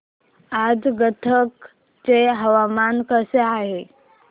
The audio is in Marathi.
आज गदग चे हवामान कसे आहे